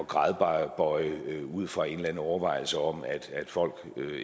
gradbøje ud fra en eller anden overvejelse om at folk